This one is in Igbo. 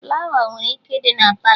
Flawa nwere ike ịdị na Palọ